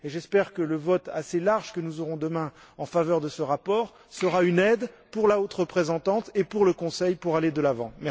J'espère que le vote assez large que nous aurons demain en faveur de ce rapport sera une aide pour que la haute représentante et le Conseil aillent de l'avant.